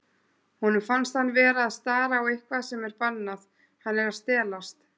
Honum finnst hann vera að stara á eitthvað sem er bannað, hann er að stelast.